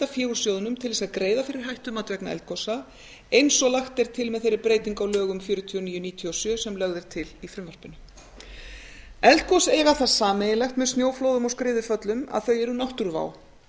fé úr sjóðnum til að greiða fyrir hættumat vegna eldgosa eins og lagt er til með þeirri breytingu á lögum númer fjörutíu og níu nítján hundruð níutíu og sjö sem lögð er til í frumvarpinu eldgos eiga það sameiginlegt með snjóflóðum og skriðuföllum að þau eru náttúruvá